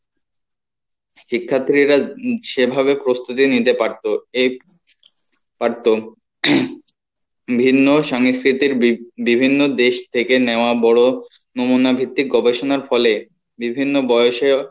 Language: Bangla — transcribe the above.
শিক্ষার্থীরা সেভাবে প্রস্তুতি নিতে পারতো পারতো ভিন্ন সাংস্কৃতির বি~বিভিন্ন দেশ থেকে নেওয়া বড়ো নমুনা ভিত্তিক গবেষনার ফলে বিভিন্ন বয়সেও,